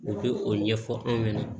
U bɛ o ɲɛfɔ anw ɲɛna